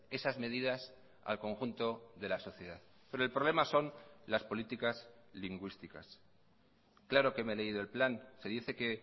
esas medidas al conjunto de la sociedad pero el problema son las políticas lingüísticas claro que me he leído el plan se dice que